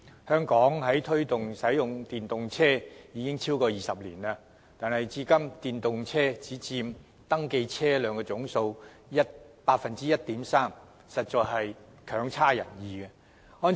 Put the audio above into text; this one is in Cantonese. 香港推動使用電動車已超過20年，但至今電動車僅佔已登記車輛總數的 1.3%， 成績實在強差人意。